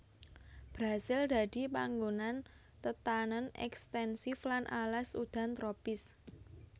Brasil dadi panggonan tetanèn ekstensif lan alas udan tropis